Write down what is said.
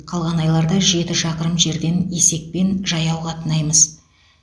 қалған айларда жеті шақырым жерден есекпен жаяу қатынаймыз